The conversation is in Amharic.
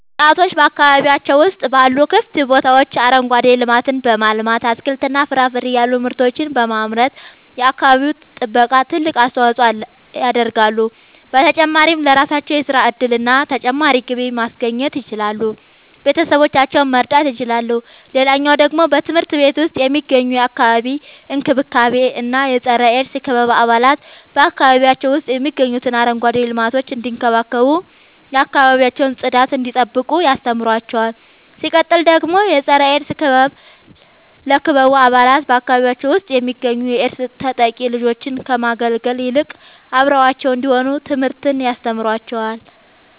ወጣቶች በአካባቢያቸው ውስጥ ባሉ ክፍት ቦታዎች አረንጓዴ ልማትን በማልማት አትክልትና ፍራፍሬ ያሉ ምርቶችን በማምረት የአካባቢው ጥበቃ ትልቅ አስተዋጽኦ ያደርጋሉ። በተጨማሪም ለራሳቸው የሥራ እድልና ተጨማሪ ገቢ ማስገኘት ይችላሉ ቤተሰቦቻቸውን መርዳት ይችላሉ። ሌላኛው ደግሞ በትምህርት ቤት ውስጥ የሚገኙ የአካባቢ እንክብካቤ እና የፀረ -ኤድስ ክበብ አባላት በአካባቢያቸው ውስጥ የሚገኙትን አረንጓዴ ልማቶች እንዲንከባከቡ የአካባቢያቸውን ጽዳት እንዲጠብቁ ያስተምሯቸዋል። ሲቀጥል ደግሞ የፀረ-ኤድስ ክበብ ለክበቡ አባላት በአካባቢያቸው ውስጥ የሚገኙ የኤድስ ተጠቂ ልጆችን ከመግለል ይልቅ አብረዋቸው እንዲሆኑ ትምህርትን ያስተምራቸዋል።